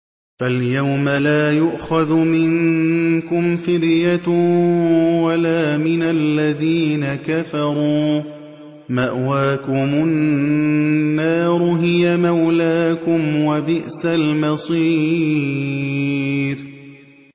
فَالْيَوْمَ لَا يُؤْخَذُ مِنكُمْ فِدْيَةٌ وَلَا مِنَ الَّذِينَ كَفَرُوا ۚ مَأْوَاكُمُ النَّارُ ۖ هِيَ مَوْلَاكُمْ ۖ وَبِئْسَ الْمَصِيرُ